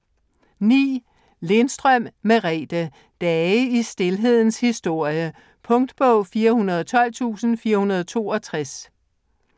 Lindstrøm, Merethe: Dage i stilhedens historie Punktbog 412462